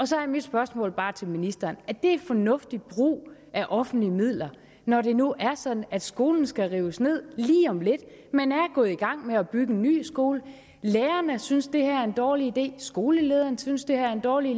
så er mit spørgsmål bare til ministeren er det fornuftig brug af offentlige midler når det nu er sådan at skolen skal rives ned lige om lidt man er gået i gang med at bygge en ny skole lærerne synes det her er en dårlig idé skolelederen synes det er en dårlig